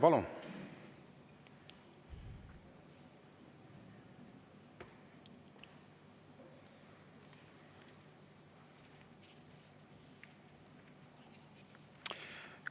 Palun!